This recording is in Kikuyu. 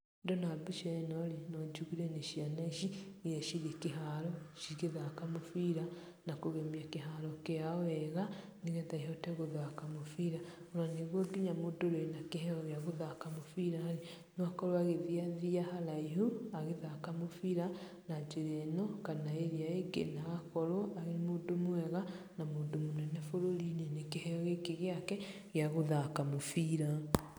Ndona mbica ĩno-rĩ, nojũgire nĩ ciana ici iria cirĩ kĩharo cigĩthaka mũbira, na kũgemia kĩharo kĩao wega, nĩgetha ihote gũthaka mũbĩra ona nĩguo mũndũ ũrĩa wĩna kĩheo gĩa gũthaka mũbira-rĩ, no akorwo agĩthiathia haraihu agĩthaka mũbĩra na jĩra ĩno kana ĩrĩa-ĩngi na agakorwo arĩ mũndũ mwega na mũndũ mũnene bũrũri-ini nĩ kĩheo gĩkĩ gĩake gĩa gũthaka mũbira.